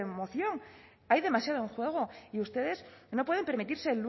moción hay demasiado en juego y ustedes no pueden permitirse